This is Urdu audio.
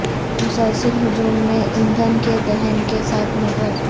مسلسل حجم میں ایندھن کے دہن کے ساتھ موٹرز